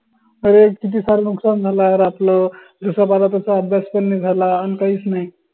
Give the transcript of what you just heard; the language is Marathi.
अरे किती सार नुकसान झालं यार आपलं जसा पहला तसा अभ्यास पन नाई झाला अन काहीच नाई